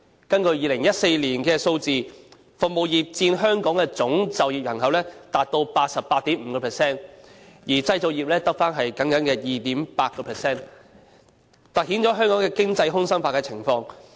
根據2014年的數字，服務業佔香港的總就業人口達 88.5%， 而製造業只僅餘 2.8%， 凸顯了香港的經濟空心化的情況。